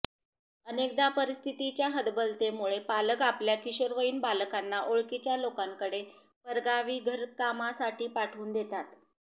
अनेकदा परिस्थितीच्या हतबलतेमुळे पालक आपल्या किशोरवयीन बालकांना ओळखीच्या लोकांकडे परगावी घरकामासाठी पाठवून देतात